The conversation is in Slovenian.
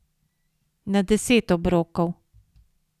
Na deset obrokov.